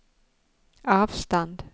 avstand